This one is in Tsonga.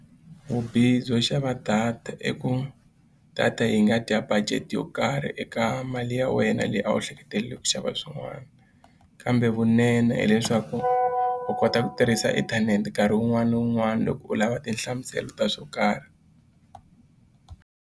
Vubihi byo xava data i ku data yi nga dya budget yo karhi eka mali ya wena leyi a wu hleketeleriwa ku xava swin'wana kambe vunene hileswaku u kota ku tirhisa inthanete nkarhi wun'wani na wun'wani loko u lava tinhlamuselo ta swo karhi.